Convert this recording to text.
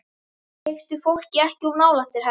Hleyptu fólki ekki of nálægt þér, herra